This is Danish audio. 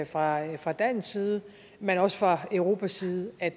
fra fra dansk side men også fra europas side at